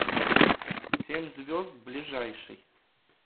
семь звезд ближайший